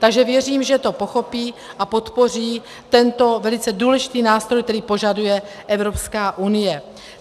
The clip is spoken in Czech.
Takže věřím, že to pochopí a podpoří tento velice důležitý nástroj, který požaduje Evropská unie.